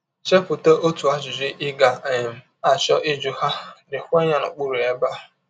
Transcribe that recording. Chepụta otu ajụjụ ị ga um - achọ ịjụ ha, deekwa ya n’okpụrụ ebe a.